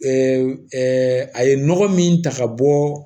a ye nɔgɔ min ta ka bɔ